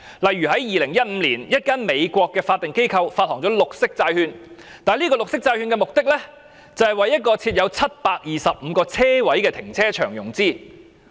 例如在2015年，一間美國法定機構發行了綠色債券，但發行這些綠色債券的目的是為一個設有725個車位的停車場融資。